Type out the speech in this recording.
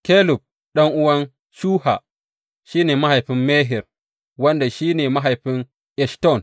Kelub, ɗan’uwan Shuha, shi ne mahaifin Mehir, wanda shi ne mahaifin Eshton.